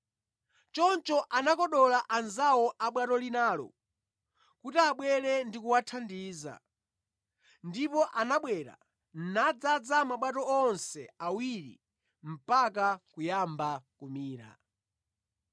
Choncho anakodola anzawo a bwato linalo kuti abwere ndi kuwathandiza, ndipo anabwera nadzaza mabwato onse awiri mpaka kuyamba kumira.